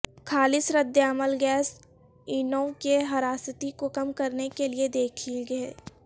خالص ردعمل گیس انووں کی حراستی کو کم کرنے کے لئے دیکھیں گے